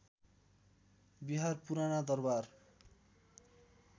विहार पुराना दरबार